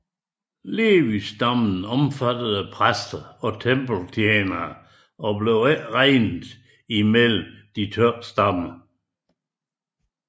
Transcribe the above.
Levis stamme omfattede præster og tempeltjenere og blev ikke regnet med blandt de tolv stammer